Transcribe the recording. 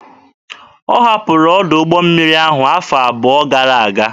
Ha hapụrụ ọdụ ụgbọ mmiri ahụ awa abụọ gara aga.